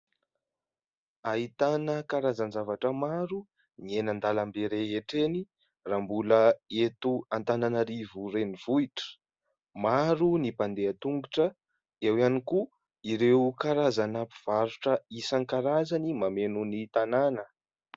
Ahitana karazan-javatra maro ny eny an-dalambe rehetra eny raha mbola eto Antananarivo renivohitra. Maro ny mpandeha tongotra, eo ihany koa ireo karazana mpivarotra isan-karazany mameno ny tanàna.